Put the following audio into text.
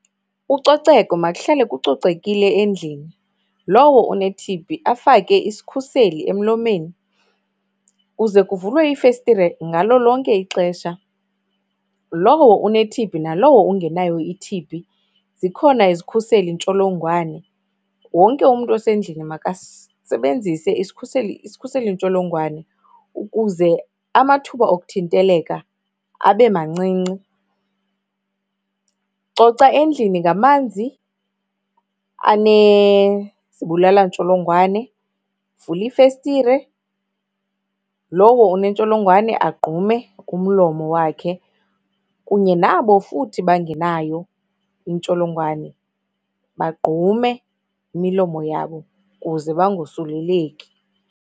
Ucoceko, makuhlale kucocekile endlini. Lowo une-T_B afake isikhuseli emlomeni. Kuze kuvulwe iifestire ngalo lonke ixesha. Lowo une-T_B nalowo ungenayo i-T_B zikhona izikhuselintsholongwane. Wonke umntu osendlini makasebenzise isikhuseli isikhuseliintsholongwane ukuze amathuba okuthinteleka abe mancinci. Coca endlini ngamanzi anezibulalantsholongwane, vula iifestire, lowo unentsholongwane agqume umlomo wakhe, kunye nabo futhi bangenayo intsholongwane baqgume imilomo yabo kuze bangosuleleki.